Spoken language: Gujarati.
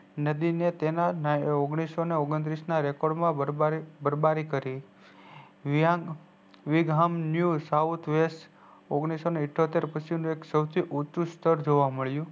નદી ને તેના ઓગણીસો ઓગણત્રીસ ના record માં બરબારી કરી વીઘામ new south west ઓગણીસો ઇઠોતેર પછી સૌથી ઉચું સ્તર જોવા મળ્યું